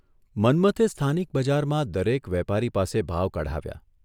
મન્મથે સ્થાનિક બજારમાં દરેક વેપારી પાસે ભાવ કઢાવ્યા.